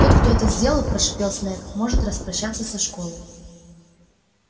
тот кто это сделал прошипел снегг может распрощаться со школой